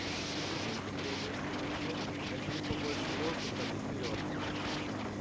если ты думаешь что твоё место на дне набери побольше воздуха и вперёд